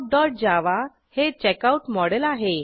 checkoutजावा हे checkout model आहे